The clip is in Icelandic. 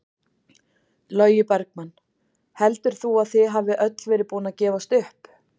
Logi Bergmann: Heldur þú að þið hafið öll verið búin að gefast upp?